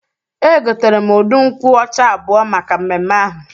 E gotere m udu nkwụ ọcha abụọ maka mmemme ahụ.